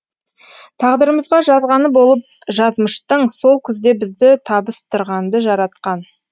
тағдырымызға жазғаны болып жазмыштың сол күзде бізді табыстырғанды жаратқан